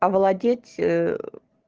овладеть